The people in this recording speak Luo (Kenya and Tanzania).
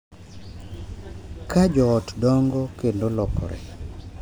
Ka jo ot dongo kendo lokore,